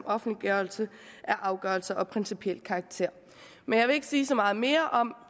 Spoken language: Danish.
offentliggørelse af afgørelser af principiel karakter jeg vil ikke sige så meget mere om